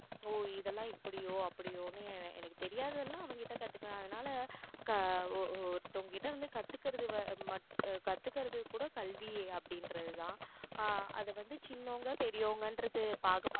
oh இதெல்லாம் இப்படியோ அப்படியோன்னு எனக்கு தெரியாததெல்லாம் அவங்கிட்ட கத்துக்கிறேன் அதுனால ஒருத்தங்ககிட்ட இருந்து கத்துக்குறது கூட கல்வி அப்படின்றதுதான் ஆஹ் அதை வந்து சின்னவங்க பெரியவங்கன்றது பாகுபாடு